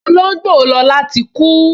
Olóngbò Lọla tí kú